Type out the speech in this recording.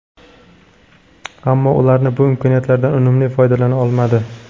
Ammo ular bu imkoniyatlardan unumli foydalana olmadi.